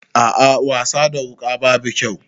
A'a wasa da wuka babu kyau.